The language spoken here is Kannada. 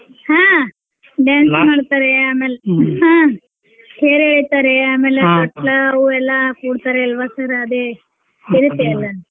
ಹಾ dance ಮಾಡ್ತಾರೇ ಆಮೇಲೆ ಹಾ ತೇರ್ ಏಳಿತಾರೆ ಆಮೇಲೆ ತೊಟ್ಲಾ ಅವು ಎಲ್ಲಾ ಕೂಡ್ತಾರೇ ಅಲ್ವಾ sir ಅದೆ .